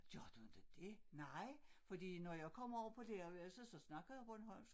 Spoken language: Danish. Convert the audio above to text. Gør du inte det? Nej fordi når jeg kommer over på lærerværelset så snakker jeg bornholmsk